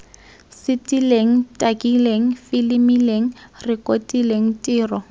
setileng takileng filimileng rekotileng tiro